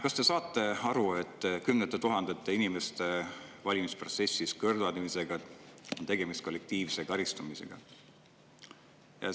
Kas te saate aru, et kümnete tuhandete inimeste valimisprotsessist kõrvaldamise puhul on tegemist kollektiivse karistamisega?